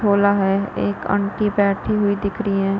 हो रा है एक आंटी बैठी हुई दिख रही है।